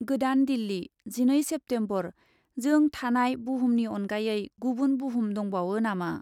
गोदान दिल्ली, जिनै सेप्तेम्बर, जों थानाय बुहुमनि अनगायै गुबुन बुहुम दंबावो नामा ?